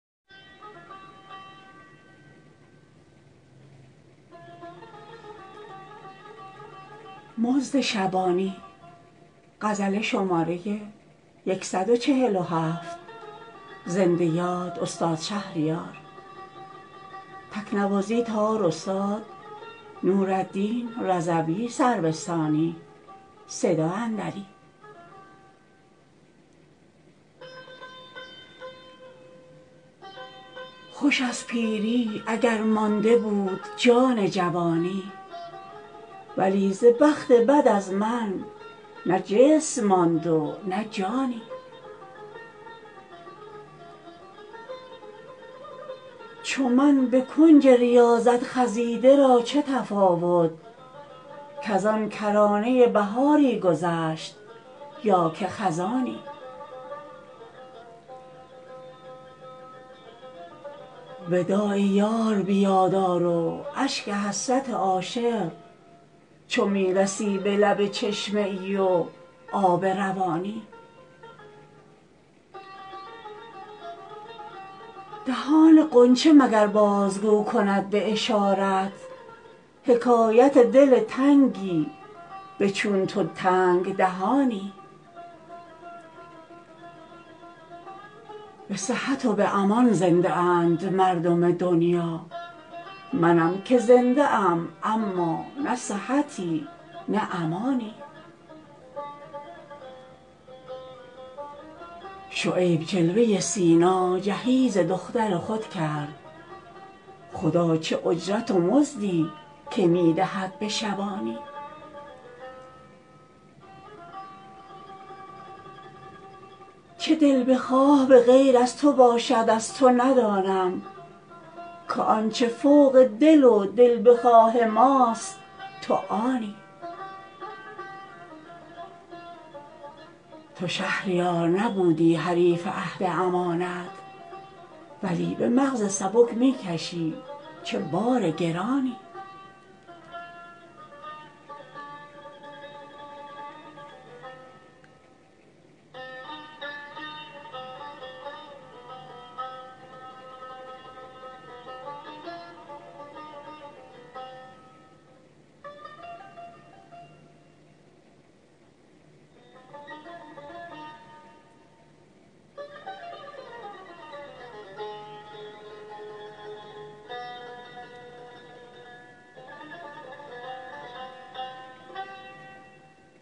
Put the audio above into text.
خوشست پیری اگر مانده بود جان جوانی ولی ز بخت بد از من نه جسم ماند و نه جانی چو من به کنج ریاضت خزیده را چه تفاوت کزان کرانه بهاری گذشت یا که خزانی وداع یار بیاد آر و اشک حسرت عاشق چو میرسی به لب چشمه ای و آب روانی دهان غنچه مگر بازگو کند به اشارت حکایت دل تنگی به چون تو تنگ دهانی جهانیان به جهان می دهند صحبت جانان منم که صحبت جانان نمی دهم به جهانی به صحت و به امان زنده اند مردم دنیا منم که زنده ام اما نه صحتی نه امانی به رمز و راز دهان تو پی نمی برم اما به هر حدیث تو پی می برم به راز نهانی شعیب جلوه سینا جهیز دختر خود کرد خدا چه اجرت و مزدی که می دهد به شبانی در آستان تو کآنجا نیاز در نگشوده ست همه به پشت درند و گدای آبی و نانی زبان به شکر همین یک زبان گشودمی ای دوست اگر به هر سر موی من از تو بود زبانی چه دلبخواه به غیر از تو باشد از توندانم که آنچه فوق دل و دلبخواه ماست تو آنی به غفلت از تو چه عمری تباه کرده ام اکنون امان نمی دهم از بیم غفلت تو به آنی نه مستحق مکافات مومنیم و نه کافر تجارتی نه به امید سود و بیم زیانی تو شهریار نبودی حریف عهد امانت ولی به مغز سبک می کشی چه بار گرانی